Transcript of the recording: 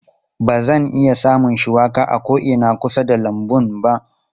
Ba zan iya samun shuwaka a ko'ina a kusa da lambun ba.